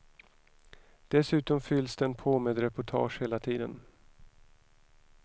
Dessutom fylls den på med reportage hela tiden.